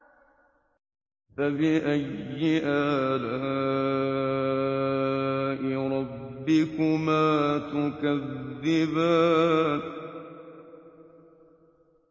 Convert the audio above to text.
فَبِأَيِّ آلَاءِ رَبِّكُمَا تُكَذِّبَانِ